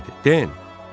Den,